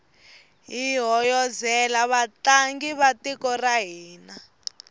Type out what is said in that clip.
hi hoyozela vatlangi va tiko ra hina